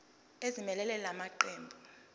ezimelele la maqembu